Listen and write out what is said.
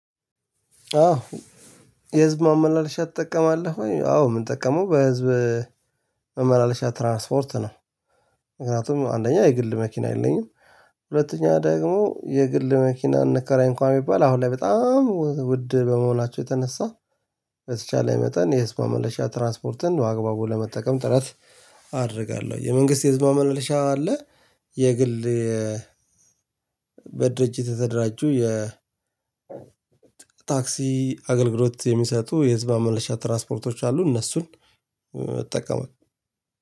አዎ? የህዝብ ማመላለሻ ትጠቀማለህ ወይ አዎ ም ጠቀመው በህዝብ ማመላለሻ ትራንስፖርት ነው። ምክንያቱም አንደኛ የግል መኪና የለኝም። ሁለተኛ ደግሞ የግል መኪና እንከራይ እንኳን ቢባል አሁን ላይ በጣም ውድ በመሆናቸው የተነሳ። በተቻለ መጠን የህዝብ ማመለሻ ትራንስፖርትን አግባቡን ለመጠቀም ጥረት አደርጋለሁ። የመንግስት የህዝብ ማመለሻ አለ። የግል በድርጅት የተደራጁ የታክሲ አገልግሎት የሚሰጡ የህዝብ ማመለሻ ትራስፖርቶች አሉ እነሱን እጠቀማል